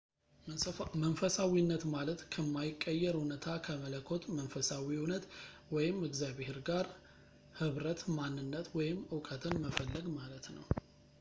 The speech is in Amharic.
መንፈሳዊነት ማለት ከማይቀየር እውነታ ከመለኮት መንፈሳዊ እውነት ወይም እግዚአብሔር ጋር ኅብረት ማንነት ወይም እውቀትን መፈለግ ማለት ነው